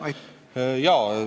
Aitäh!